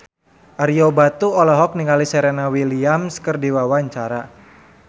Ario Batu olohok ningali Serena Williams keur diwawancara